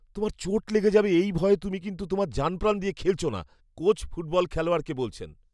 তোমার চোট লেগে যাবে এই ভয়ে তুমি কিন্তু তোমার জানপ্রাণ দিয়ে খেলছ না কোচ ফুটবল খেলোয়াড়কে বলছেন